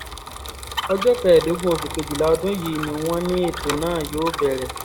ọjọ́ kẹẹ̀ẹ́dógún oṣù kejìlá ọdún yìí ni wọ́n ní ètò náà yóò bẹ̀rẹ̀